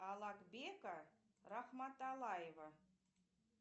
алакбека рахматалаева